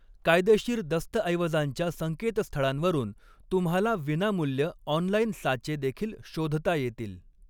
कायदेशीर दस्तऐवजांच्या संकेतस्थळांवरून तुम्हाला विनामूल्य ऑनलाइन साचे देखील शोधता येतील.